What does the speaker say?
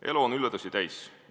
Elu on üllatusi täis.